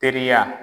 Teriya